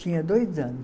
Tinha dois anos.